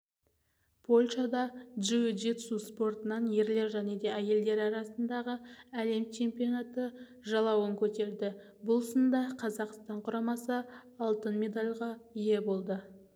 польшада джиу-джитсу спортынан ерлер және әйелдер арасындағы әлем чемпионаты жалауын көтерді бұл сында қазақстан құрамасы алтын медальға ие болды